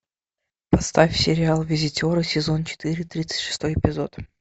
поставь сериал визитеры сезон четыре тридцать шестой эпизод